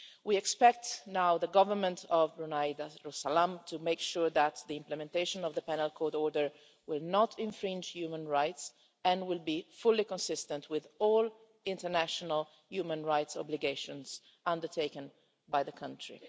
We expect now the Government of Brunei Darussalam to make sure that the implementation of the Penal Court Order will not infringe human rights and will be fully consistent with all international human rights obligations undertaken by the country.